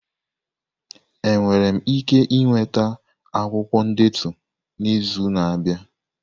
Enwere m ike ịnweta akwụkwọ ndetu n'izu na-abịa?